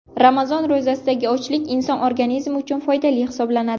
Ramazon ro‘zasidagi ochlik inson organizmi uchun foydali hisoblanadi.